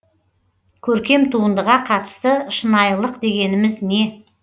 көркем туындыға қатысты шынайлық дегеніміз не